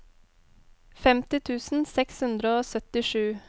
femti tusen seks hundre og syttisju